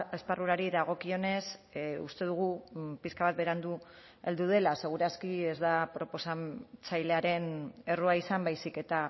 esparrurari dagokionez uste dugu pixka bat berandu heldu dela seguraski ez da proposatzailaren errua izan baizik eta